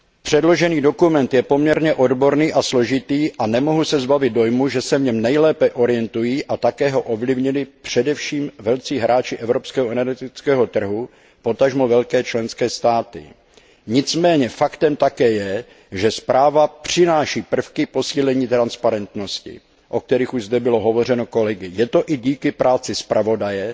Předložený dokument je poměrně odborný a složitý a nemohu se zbavit dojmu, že se v něm nejlépe orientují a také ho ovlivnili především velcí hráči evropského energetického trhu, potažmo velké členské státy. Nicméně faktem také je, že zpráva přináší prvky posílení transparentnosti, o kterých už zde hovořili kolegové. Je to i díky práci zpravodaje,